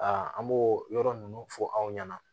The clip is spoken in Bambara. an b'o yɔrɔ ninnu fɔ aw ɲɛna